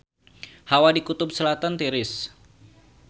Hawa di Kutub Selatan tiris